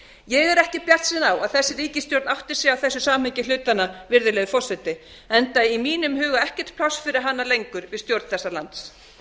ég er ekki bjartsýn á að þessi ríkisstjórn átti sig á þessu samhengi hlutanna virðulegi forseti enda í mínum huga ekkert pláss fyrir hana lengur við stjórn þessa lands